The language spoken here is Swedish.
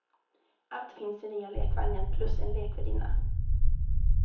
Allt finns i nya lekvagnen plus en lekvärdinna.